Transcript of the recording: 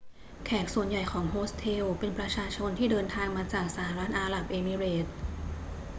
แขกส่วนใหญ่ของโฮสเทลเป็นประชาชนที่เดินทางมาจากสหรัฐอาหรับเอมิเรตส์